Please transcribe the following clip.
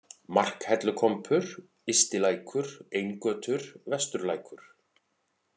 Markhellukompur, Ystilækur, Eingötur, Vesturlækur